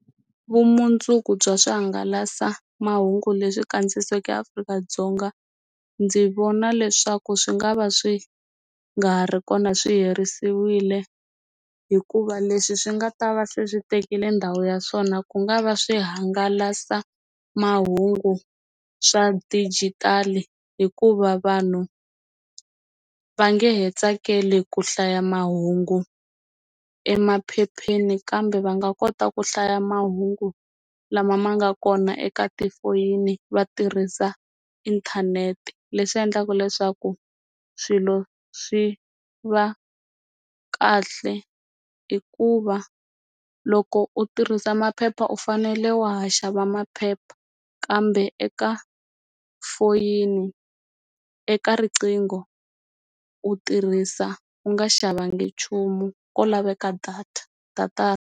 Vumundzuku bya swihangalasamahungu leswi kandziyisiweke Afrika-Dzonga ndzi vona leswaku swi nga va swi nga ri kona swi herisiwile hikuva leswi swi nga ta va swi tekile ndhawu ya swona ku nga va swi hangalasa mahungu swa dijitali hikuva vanhu va nge he tsakeli ku hlaya mahungu emaphepheni kambe va nga kota ku hlaya mahungu lama ma nga kona eka tifoyini va tirhisa inthanete leswi endlaka leswaku swilo swi va kahle i ku va loko u tirhisa maphepha u fanele wa ha xava maphepha kambe eka foyini eka riqingho u tirhisa u nga xavanga nchumu ko laveka data data.